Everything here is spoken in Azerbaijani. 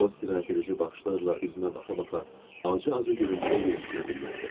O istirahət edici baxışlarla üzümə baxa-baxa acı-acı gülümsəyə-gülümsəyə dilləndi.